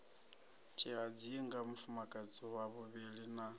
tshihadzinga mufumakadzi wa vhuvhili na